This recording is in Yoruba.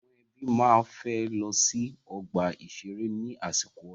Àwọn ẹbí máa fẹ́ lọ sí ọ̀gbà ìṣeré ní àsìkò ọdún.